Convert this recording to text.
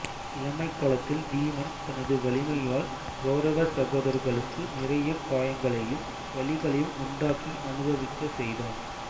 இளமைக் காலத்தில் பீமன் தனது வலிமையால் கெளரவச் சகோதரர்களுக்கு நிறைய காயங்களையும் வலிகளையும் உண்டாக்கி அனுபவிக்கச் செய்தான்